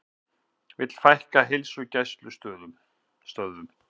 Vilja fækka heilsugæslustöðvum